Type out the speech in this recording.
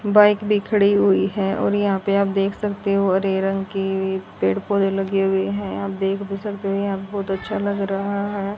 Bike भी खड़ी हुई है और यहां पे आप देख सकते हो हरे रंग की पेड़ पौधे लगे हुए हैं आप देख भी सकते हैं यहां पे बहुत अच्छा लग रहा है।